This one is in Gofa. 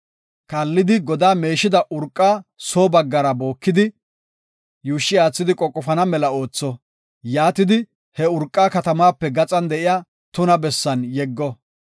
Kaallidi godaa meeshida urqa soo baggara bookidi, yuushshi aathidi qoqofana mela ootho; yaatidi he urqa katamaape gaxan de7iya tuna bessan yeggo.